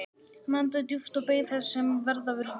Hann andaði djúpt og beið þess sem verða vildi.